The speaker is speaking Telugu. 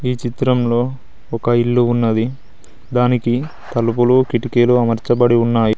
ఈ చిత్రంలో ఒక ఇల్లు ఉన్నది దానికి తలుపులు కిటికీలు అమర్చబడి ఉన్నాయి.